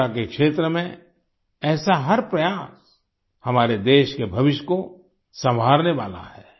शिक्षा के क्षेत्र में ऐसा हर प्रयास हमारे देश के भविष्य को संवारने वाला है